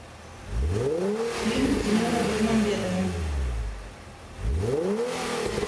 фильм тимура бекмамбетова